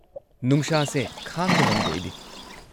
ꯅꯨꯡꯁꯥꯁꯦ ꯈꯥꯡꯕ ꯉꯝꯗꯦ ꯑꯩꯗꯤ꯫